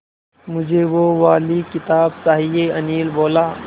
मुझे वो वाली किताब चाहिए अनिल बोला